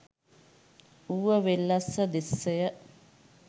Uva Wellassa දෙසය